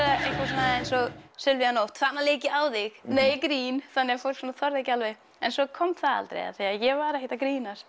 einhverju svona eins og Silvía Nótt þarna lék ég á þig nei grín þannig að fólk svona þorði ekki alveg en svo kom það aldrei af því að ég var ekkert að grínast